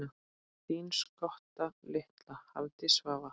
Þín skotta litla, Hafdís Svava.